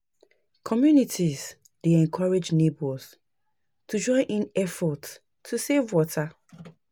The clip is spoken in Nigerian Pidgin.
Communities dey encourage neighbors to join in efforts to save water.